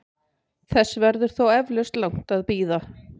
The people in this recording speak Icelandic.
Þess verður þó eflaust langt að bíða.